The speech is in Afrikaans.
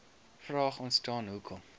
vraag ontstaan hoekom